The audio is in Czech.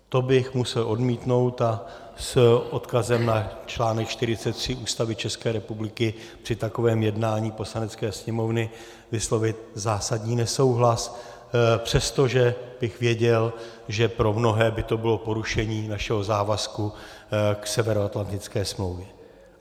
To bych musel odmítnout a s odkazem na článek 43 Ústavy České republiky při takovém jednání Poslanecké sněmovny vyslovit zásadní nesouhlas, přestože bych věděl, že pro mnohé by to bylo porušení našeho závazku k Severoatlantické smlouvě.